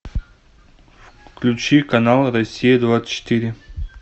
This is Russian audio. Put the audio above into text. включи канал россия двадцать четыре